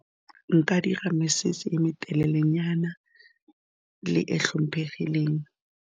Nka dira mesese e me telelenyana le e tlhomphegileng.